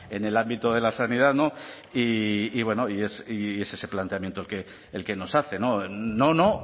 en el ámbito de la sanidad no y bueno y es ese planteamiento el que nos hace no no